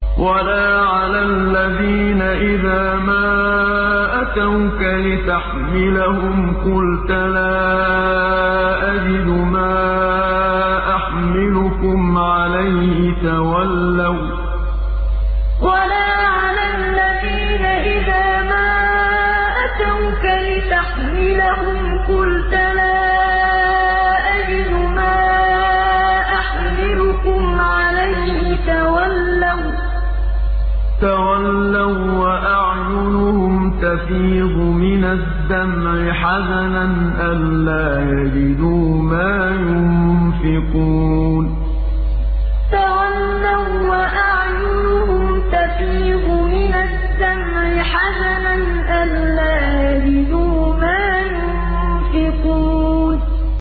وَلَا عَلَى الَّذِينَ إِذَا مَا أَتَوْكَ لِتَحْمِلَهُمْ قُلْتَ لَا أَجِدُ مَا أَحْمِلُكُمْ عَلَيْهِ تَوَلَّوا وَّأَعْيُنُهُمْ تَفِيضُ مِنَ الدَّمْعِ حَزَنًا أَلَّا يَجِدُوا مَا يُنفِقُونَ وَلَا عَلَى الَّذِينَ إِذَا مَا أَتَوْكَ لِتَحْمِلَهُمْ قُلْتَ لَا أَجِدُ مَا أَحْمِلُكُمْ عَلَيْهِ تَوَلَّوا وَّأَعْيُنُهُمْ تَفِيضُ مِنَ الدَّمْعِ حَزَنًا أَلَّا يَجِدُوا مَا يُنفِقُونَ